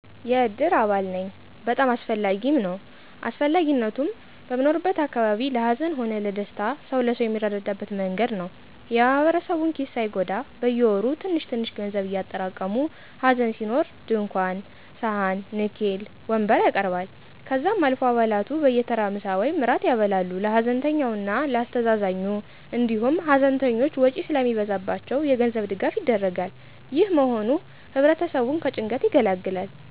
የእድር አባል ነኝ። በጣም አስፈላጊም ነዉ. አስፈላጊነቱም, በምንኖርበት አካባቢ ለ ሀዘን ሆነ ለደስታ ሰዉ ለሰው የሚረዳዳበት መንገድ ነዉ። የ ማህበረሰቡን ኪስ ሳይጎዳ በየወሩ ትንሽትንሽ ገንዘብ እያጠራቀሙ ሀዘን ሲኖር ድንኳን ,ሰሀን, ንኬል, ወንበር ያቀርባል። ከዛም አልፎ አባላቱ በየተራ ምሳ ወይም እራት ያበላሉ ለ ሀዘንተኛው እና ለ አስተዛዛኙ, እንዲሁም ሀዘንተኞች ውጪ ስለሚበዛባቸው የገንዘብ ድጋፍ ይደረጋል። ይህ መሆኑ ህብረተሰቡን ከጭንቀት ይገላግላል።